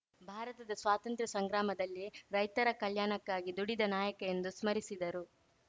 ಭಾರತದ ಸ್ವಾತಂತ್ರ್ಯ ಸಂಗ್ರಾಮದಲ್ಲಿ ರೈತರ ಕಲ್ಯಾಣಕ್ಕಾಗಿ ದುಡಿದ ನಾಯಕ ಎಂದು ಸ್ಮರಿಸಿದರು